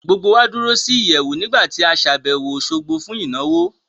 Gbogbo wá dúró sí ìyẹ̀wù nígbà tí a ṣàbẹ̀wò Òṣogbo fún ìnáwó